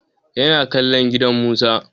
Ya na kallon gidan Musa.